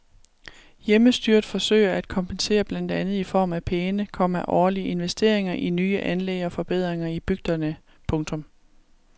Hjemmestyret forsøger at kompensere blandt andet i form af pæne, komma årlige investeringer i nye anlæg og forbedringer i bygderne. punktum